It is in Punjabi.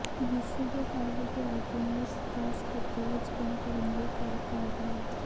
ਯਿਸੂ ਦੇ ਹਰ ਵਿਦਿਆਰਥੀ ਨੂੰ ਇੱਕ ਖਾਸ ਖੇਤਰ ਵਿੱਚ ਕੰਮ ਕਰਨ ਲਈ ਤਿਆਰ ਕਰਦਾ ਹੈ